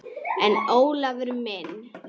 En Ólafur minn.